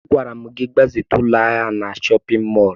Agwara m gị gbazite ụlọ ahịa na chọpịn mọọlụ!